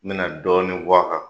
N mena dɔɔnin fo a kan